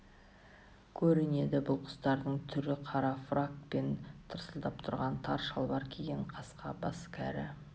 көрінеді бұл құстардың түрі қара фрак пен тырсылдап тұрған тар шалбар киген қасқа бас кәрі